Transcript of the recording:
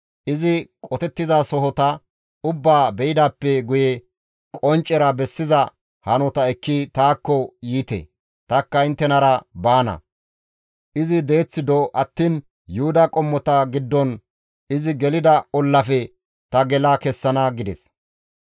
Izi qotettizasohota ubbaa be7idaappe guye qonccera bessiza hanota ekki taakko yiite; tanikka inttenara baana; izi deeth do attiin Yuhuda qommota giddon izi gelida ollafe ta gela kessana» gides.